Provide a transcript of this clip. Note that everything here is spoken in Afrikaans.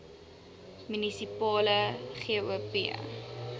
munisipale gop